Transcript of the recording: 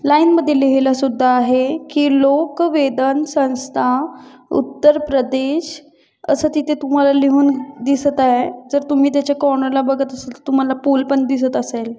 Line मध्ये लिहिलेलं सुद्धा आहे की लोक वेदन संस्था उत्तरप्रदेश असं तिथे तुम्हाला लिहून दिसत आहे जर तुम्ही त्याच्या कॉर्नर ला बघत असाल तुम्हाला पूल पण दिसत असेल.